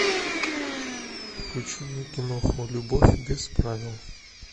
включи мне киноху любовь без правил